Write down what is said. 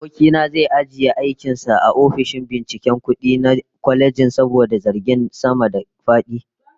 Aboki na zai ajiye aikin sa a ofishin binciken kudi na kwalejin saboda zargin sama-da-fadi